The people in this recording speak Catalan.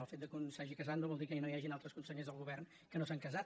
el fet que un s’hagi casat no vol dir que no hi hagin altres consellers del govern que no s’han casat